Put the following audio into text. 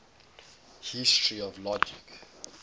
history of logic